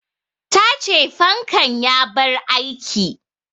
Ta ce fankan ya bar aiki